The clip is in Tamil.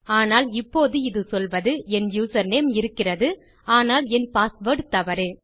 ஆனால் இப்போது இது சொல்வது என் யூசர்நேம் இருக்கிறது ஆனால் என் பாஸ்வேர்ட் தவறு